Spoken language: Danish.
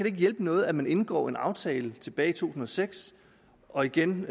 ikke hjælpe noget at man indgår en aftale tilbage i to tusind og seks og igen